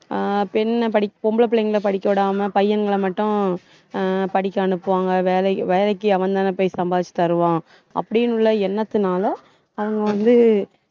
அஹ் பெண்ண படிக்~ பொம்பள புள்ளைங்கள படிக்க விடாம பையன்கள மட்டும் அஹ் படிக்க அனுப்புவாங்க வேலைக்கு வேலைக்கு அவன் தானே போய் சம்பாதிச்சு தருவான். அப்டின்னு உள்ள எண்ணத்துனால அவுங்க வந்து